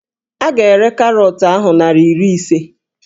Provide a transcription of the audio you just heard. A ga-ere karọọtụ ahụ naịra iri ise